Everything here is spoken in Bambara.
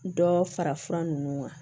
Dɔ fara fura ninnu kan